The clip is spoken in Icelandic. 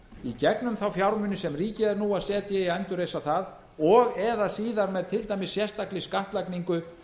í gegnum þá fjármuni sem ríkið er nú að setja í að endurreisa það og eða síðar með til dæmis sérstakri skattlagningu